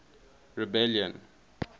rebellion